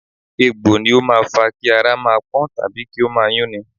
Egbò ni ó máa fa Kí ara máa pọ́n tàbí kí ó máa yún ni.